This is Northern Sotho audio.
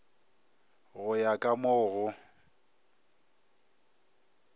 go ya ka mo go